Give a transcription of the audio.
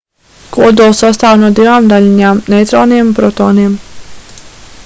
kodols sastāv no divām daļiņām neitroniem un protoniem